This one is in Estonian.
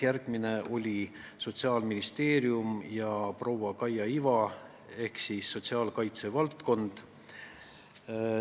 Järgmine oli Sotsiaalministeerium ja proua Kaia Iva ehk sotsiaalkaitse valdkond.